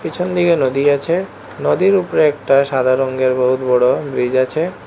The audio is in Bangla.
পেছন দিকে নদী গেছে নদীর উপরে একটা সাদা রঙের বহুত বড় ব্রিজ আছে।